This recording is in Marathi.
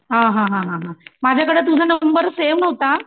हा हा हा हा माझ्याकडे तुझा नंबर सेव नव्हता